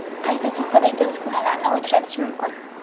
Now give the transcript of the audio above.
Qaysi sohadagi uskunalarni uchratish mumkin?